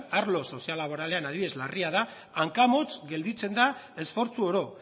arlo soziolaboralean adibidez larria da hankamotz gelditzen da esfortzu oro